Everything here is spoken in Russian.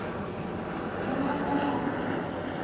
морадабад